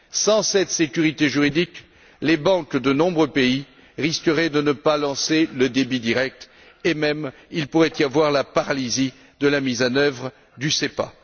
Sans cette sécurité juridique, les banques de nombreux pays risqueraient de ne pas lancer le débit direct et il pourrait même y avoir la paralysie de la mise en œuvre du SEPA.